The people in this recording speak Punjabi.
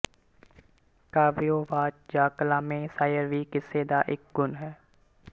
ਕਾਵਿਓ ਵਾਚ ਜਾਂ ਕਲਾਮੇ ਸ਼ਾਇਰ ਵੀ ਕਿੱਸੇ ਦਾ ਇੱਕ ਗੁਣ ਹੈ